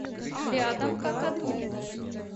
рядом какаду